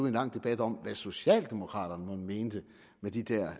en lang debat om hvad socialdemokraterne mon mente med de der